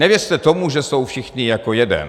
Nevěřte tomu, že jsou všichni jako jeden.